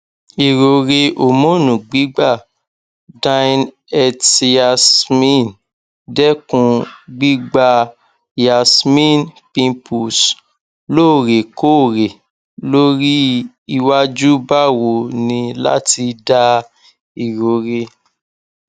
irore homonu gbigba dineette yasmin dekun gbigba yasmin pimples loorekoore lori iwaju bawo ni lati da irore